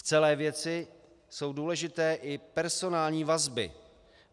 V celé věci jsou důležité i personální vazby.